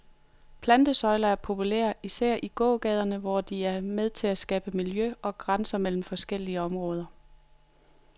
Plantesøjler er populære, især i gågaderne, hvor de er med til at skabe miljø og grænser mellem forskellige områder.